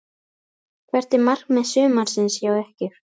Hvert er markmið sumarsins hjá ykkur?